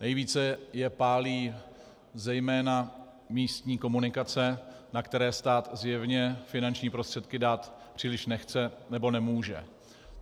Nejvíce je pálí zejména místní komunikace, na které stát zjevně finanční prostředky dát příliš nechce nebo nemůže.